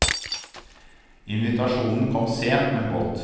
Invitasjonen kom sent, men godt.